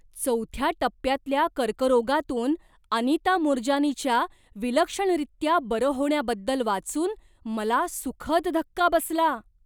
चौथ्या टप्प्यातल्या कर्करोगातून अनिता मूरजानीच्या विलक्षणरीत्या बरं होण्याबद्दल वाचून मला सुखद धक्का बसला.